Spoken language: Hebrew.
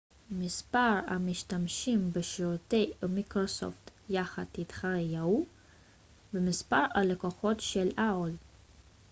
מספר המשתמשים בשירותי yahoo ומיקרוסופט יחד יתחרה במספר הלקוחות של aol